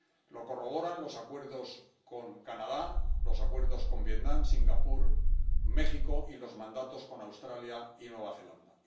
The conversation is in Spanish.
Lo corroboran los acuerdos con Canadá, los acuerdos con Vietnam, Singapur y México y los mandatos con Australia y Nueva Zelanda.